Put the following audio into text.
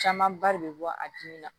Camanba de be bɔ a dimi na